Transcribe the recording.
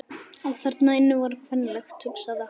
Allt þarna inni var kvenlegt, hugsaði hann.